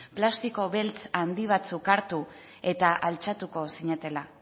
plastiko beltz handi batzuk hartu eta altxatuko zinatela